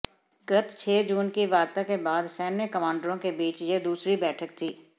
गत छह जून की वार्ता के बाद सैन्य कमांडरों के बीच यह दूसरी बैठक थी